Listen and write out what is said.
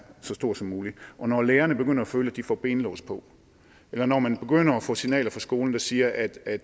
så stor som mulig når lærerne begynder at føle at de får benlås på eller når man begynder at få signaler fra skolen der siger at at